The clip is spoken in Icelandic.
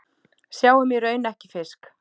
Sáum í raun ekki fisk.